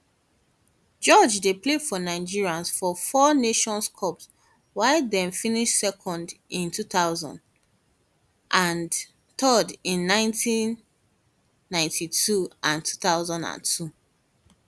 george play for nigeria for four nations cups wia dem finish second in 2000 and 2000 and third in 1992 and 2002